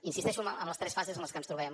insisteixo en les tres fases en les que ens trobem